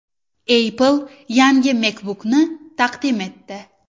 Apple yangi MacBook’ni taqdim etdi.